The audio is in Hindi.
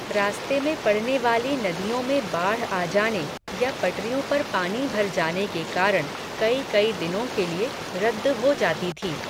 रास्ते में पड़ने वाली नदियों में बाढ़ आ जाने, या पटरियों पर पानी भर जाने के कारण, कई कई दिनों के लिए, रद्द हो जाती थी